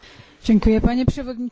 Panie przewodniczący!